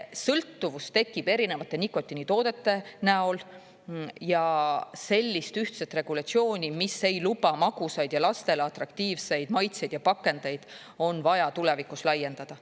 Sõltuvus tekib erinevate nikotiinitoodete näol ja sellist ühtset regulatsiooni, mis ei luba magusaid ja lastele atraktiivseid maitseid ja pakendeid, on vaja tulevikus laiendada.